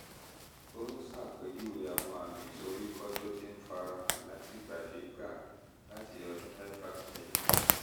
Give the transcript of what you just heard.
ò ń ṣàpèjúwe àwọn àmì ìsoríkọ́ tó ti ń fara hàn látìgbàdégbà láti ọdún mẹ́fà sẹ́yìn